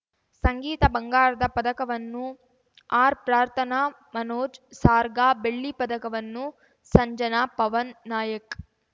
ಸಂಗೀತ ಬಂಗಾರದ ಪದಕವನ್ನು ಆರ್‌ಪ್ರಾರ್ಥನಾ ಮನೋಜ್‌ ಸಾರ್ಗ ಬೆಳ್ಳಿ ಪದಕವನ್ನು ಸಂಜನಾ ಪವನ್‌ ನಾಯಕ್‌